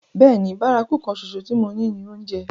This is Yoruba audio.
Bẹ́ẹ̀ni, bárakú kan ṣoṣo tí mo ní ni oúnjẹ.